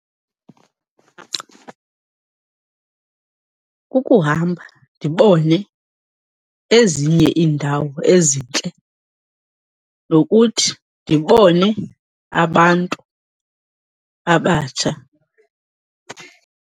Kukuhamba ndibone ezinye iindawo ezintle nokuthi ndibone abantu abatsha.